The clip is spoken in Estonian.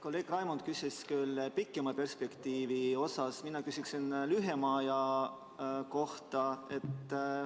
Kolleeg Raimond küsis küll pikema perspektiivi kohta, mina küsiksin lühema aja kohta.